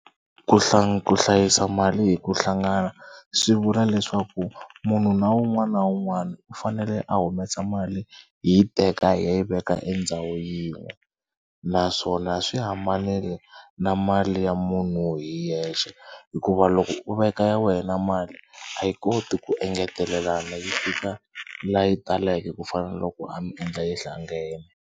Ku ku hlayisa mali hi ku hlangana swi vula leswaku munhu na un'wana na un'wana u fanele a humesa mali hi yi teka hi ya yi veka endhawu yin'we naswona swi hambanile na mali ya munhu hi yexe hikuva loko u veka ya wena mali a yi koti ku engetelelana yi fika laha yi taleke ku fana na loko a mi endla yi hlangene.